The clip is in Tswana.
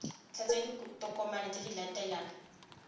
tlatsa ditokomane tse di latelang